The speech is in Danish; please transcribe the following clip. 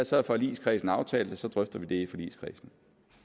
så har forligskredsen aftalt at vi så drøfter det i forligskredsen